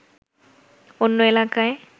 অন্য এলাকায়